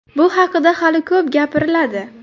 Bu haqida hali ko‘p gapiriladi.